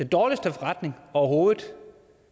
dårligste forretning overhovedet